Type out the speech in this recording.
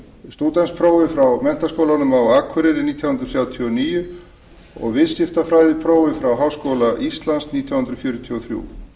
stúdentsprófi í menntaskólanum á akureyri nítján hundruð þrjátíu og níu og viðskiptafræðiprófi í háskóla íslands nítján hundruð fjörutíu og þrjú